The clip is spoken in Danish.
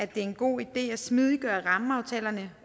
det er en god idé at smidiggøre rammeaftalerne